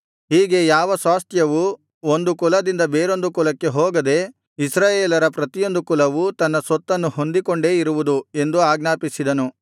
ಹೀಗೆ ಯಾವ ಸ್ವಾಸ್ತ್ಯವೂ ಒಂದು ಕುಲದಿಂದ ಬೇರೊಂದು ಕುಲಕ್ಕೆ ಹೋಗದೆ ಇಸ್ರಾಯೇಲರ ಪ್ರತಿಯೊಂದು ಕುಲವು ತನ್ನ ಸ್ವತ್ತನ್ನು ಹೊಂದಿಕೊಂಡೇ ಇರುವುದು ಎಂದು ಆಜ್ಞಾಪಿಸಿದನು